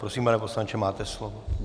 Prosím, pane poslanče, máte slovo.